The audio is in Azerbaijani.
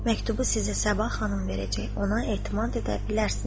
Məktubu sizə Sabah xanım verəcək, ona etimad edə bilərsiniz.